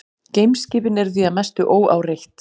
Geimskipin eru því að mestu óáreitt.